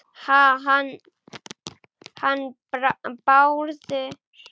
Ha- hann Bárður?